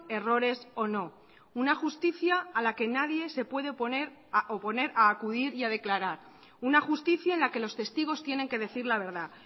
errores o no una justicia a la que nadie se puede oponer a acudir y a declarar una justicia en la que los testigos tienen que decir la verdad